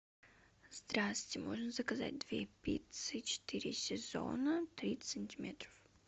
здравствуйте можно заказать две пиццы четыре сезона тридцать сантиметров